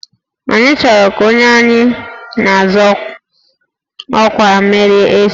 Anyị chọrọ ka onye anyị na-azọ ọkwa merie echi